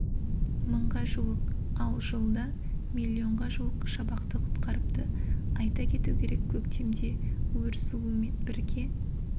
мыңға жуық ал жылда миллионға жуық шабақты құтқарыпты айта кету керек көктемде өр суымен бірге